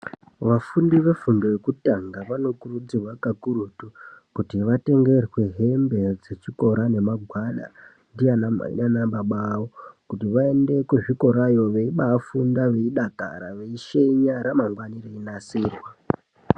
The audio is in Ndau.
Vafundi vefundo yekutanga vanokurudzirwa kakurutu kuti vatengerwe hembe dzechikora nemagwada kuti vaende kuzvikorayo veibafunda veidakara veishenya ramangwana reinasirwa.